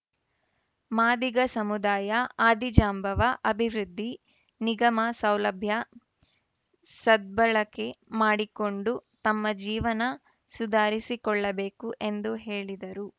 ಮಾದಿಗ ಸಮುದಾಯ ಆದಿಜಾಂಬವ ಅಭಿವೃದ್ಧಿ ನಿಗಮ ಸೌಲಭ್ಯ ಸದ್ಭಳಕೆ ಮಾಡಿಕೊಂಡು ತಮ್ಮ ಜೀವನ ಸುಧಾರಿಸಿಕೊಳ್ಳಬೇಕು ಎಂದು ಹೇಳಿದರು